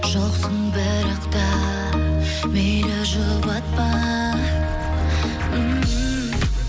жоқсың бірақ та мейлі жұбатпа ммм